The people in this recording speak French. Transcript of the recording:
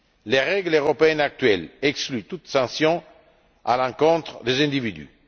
Les règles européennes actuelles excluent toute sanction à l'encontre des individus.